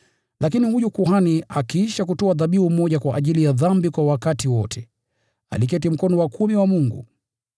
Lakini huyu kuhani akiisha kutoa dhabihu moja kwa ajili ya dhambi kwa wakati wote, aliketi mkono wa kuume wa Mungu.